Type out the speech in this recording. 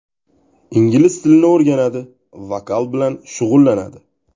Ingliz tilini o‘rganadi, vokal bilan shug‘ullanadi.